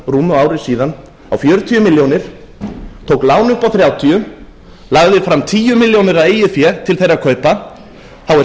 rúmu ári síðan á fjörutíu milljónir tók lán upp á þrjátíu lagði fram tíu milljónir af eigin fé til þeirra kaupa þá er